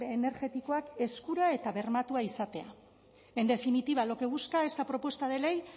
energetikoak eskura eta bermatua izatea en definitiva lo que busca esta propuesta de ley